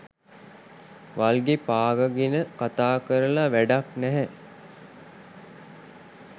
වල්ගේ පාගාගෙන කතාකරල වැඩක් නැහැ.